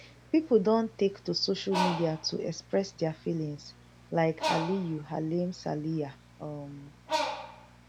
pipo don take to social media to express dia feelings like aliyu halimsaliyah um